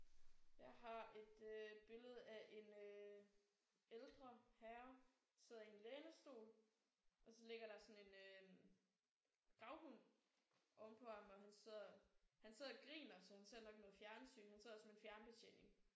Jeg har et øh billede af en øh ældre herre der sidder i en lænestol og så ligger der sådan en øh gravhund ovenpå ham og han sidder han sidder og griner så han ser nok noget fjernsyn. Han sidder også med en fjernbetjening